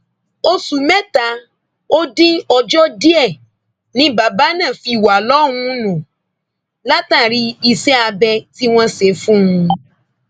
oṣù mẹta ó dín ọjọ díẹ ni bàbá náà fi wà lọhùnún látàrí iṣẹ abẹ tí wọn ṣe fún un